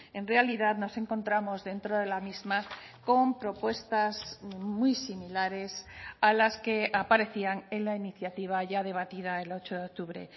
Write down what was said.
en realidad nos encontramos dentro de la misma con propuestas muy similares a las que aparecían en la iniciativa ya debatida el ocho de octubre